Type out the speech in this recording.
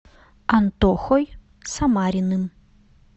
антохой самариным